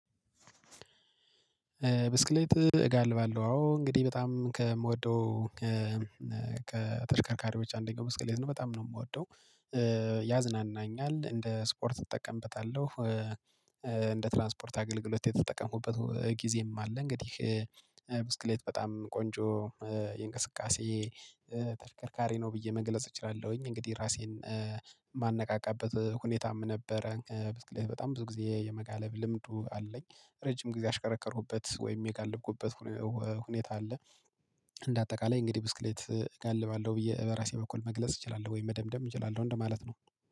ብስክሌት እጋልባለሁ አዎ እንግዲህ በጣም ከምወደው ከተሽከርካሪዎች አንደኛው ብስክሌት ነው በጣም ነው የምወደው ያዝናናኛል እንደ ስፖርት እጠቀምበታለሁ። እንደ ትራንስፖርት አገልግሎት የተጠቀምኩበት ጊዜም አለ። እንግዲህ ብስክሌት በጣም ቆንጆ የእንቅስቃሴ ተሽከርካሪ ነው ብዬ መግለጽ እችላለሁኝ። እንግዲህ ራሴን ማነቃቃበት ሁኔታም ነበረ። ብስክልት በጣም ብዙ ጊዜ የመጋለብ ልምዱ አለኝ ረጅም ጊዜ የሽከረከሩበት ወይም የጋለብኩበት ሁኔታ አለ። እንደ አጠቃላይ እንግዲህ ብስክሌት እጋልባለሁ ብዬ በራሴ በኩል መግለጽ እችላለሁ ወይም መደምደም እችላለሁ እንደማለት ነው